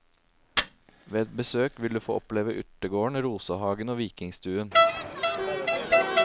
Ved et besøk vil du få oppleve urtegården, rosehagen og vikingstuen.